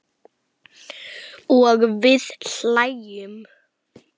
Og við hlæjum.